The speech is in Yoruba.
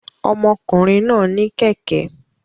Ọmọkùnrin náà ní kẹ̀kẹ́